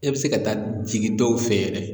E bɛ se ka taa jigin dɔw fɛ yɛrɛ